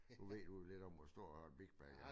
Du ved vel lidt om stor en big bag er